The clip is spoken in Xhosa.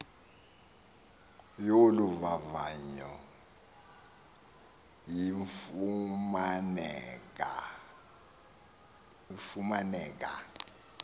yolu vavanyo ifumaneka